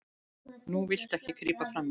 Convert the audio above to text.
Núna viltu ekki grípa frammí.